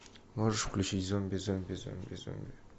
можешь включить зомби зомби зомби зомби